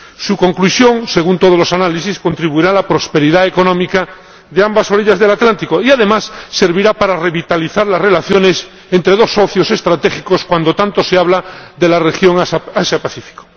Su conclusión, según todos los análisis, contribuirá a la prosperidad económica de ambas orillas del Atlántico y, además, servirá para revitalizar las relaciones entre dos socios estratégicos cuando tanto se habla de la región Asia Pacífico.